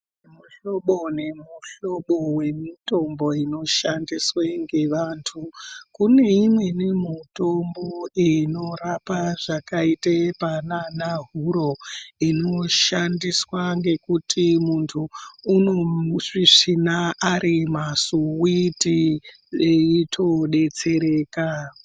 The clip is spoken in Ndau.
Muhlobo nemuhlobo wemitombo inoshandiswe ngevantu. Kune imweni mutombo inorapa zvakaite panaana huro, inoshandiswa ngekuti munhu unomusvisvina ari masuwiti, veitodetsereka.